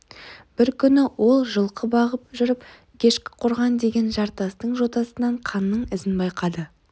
бір күні ол жылқы бағып жүріп ешкіқорған деген жартастың жотасынан қанның ізін байқады